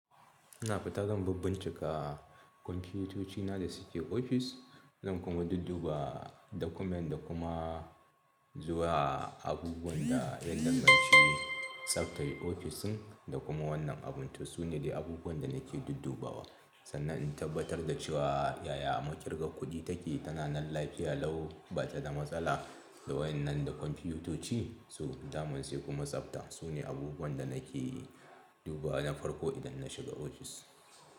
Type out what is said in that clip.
Ina fita zan bibbincika kwamfutocina da suke ofis, zan kuma dudduba document da kuma zuwa abubuwan da ya danganci tsaftar ofisin da kuma wannan abun. To su ne dai abubuwan da nake duddubawa sannan in tabbatar da cewa yaya makirga kudi take tana nan lafiya lau ba ta da matsala. Da wa yan nan da kwamfitoci so daman sai kuma tsabta. Su ne abubuwan da nake dubawa na farko idan na shiga ofis.